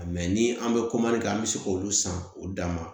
ni an bɛ kɛ an bɛ se k'olu san k'o d'a ma